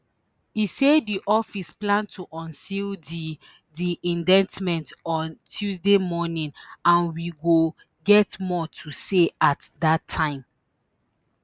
e say di office plan to unseal di di indictment on tuesday morning and we go get more to say at dat time